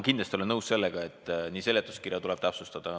Kindlasti olen nõus, et seletuskirja tuleb täpsustada.